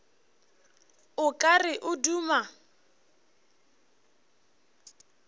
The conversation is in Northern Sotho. o ka re o duma